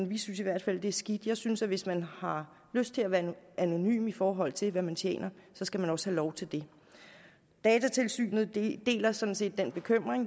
vi synes i hvert fald det er skidt jeg synes at hvis man har lyst til at være anonym i forhold til hvad man tjener skal man også have lov til det datatilsynet deler sådan set den bekymring